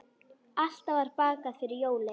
Alltaf var bakað fyrir jólin.